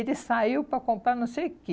Ele saiu para comprar não sei o quê.